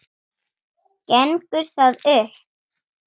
Gengur það upp?